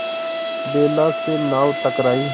बेला से नाव टकराई